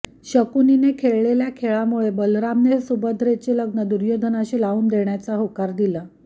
शकुनीने खेळलेल्या खेळामुळे बलरामाने सुभद्रेचे लग्न दुर्योधनाशी लावून देण्याचे होकार दिले